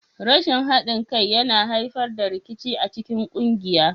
Rashin haɗin kai yana haifar da rikici a cikin ƙungiya.